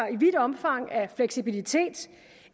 i vidt omfang af fleksibilitet